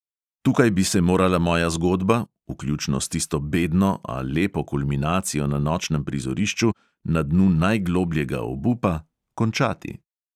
Tukaj bi se morala moja zgodba, vključno s tisto bedno, a lepo kulminacijo na nočnem prizorišču, na dnu najglobljega obupa, končati.